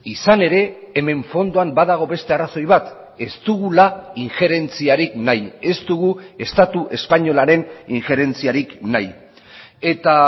izan ere hemen fondoan badago beste arrazoi bat ez dugula injerentziarik nahi ez dugu estatu espainolaren injerentziarik nahi eta